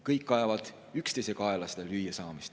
Kõik ajavad seda lüüasaamist üksteise kaela.